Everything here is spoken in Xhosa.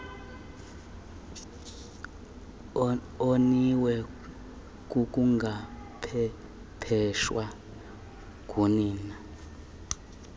oniwe kukungaqeqeshwa ngunina